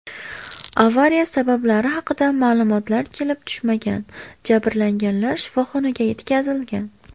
Avariya sabablari haqida ma’lumotlar kelib tushmagan, jabrlanganlar shifoxonaga yetkazilgan.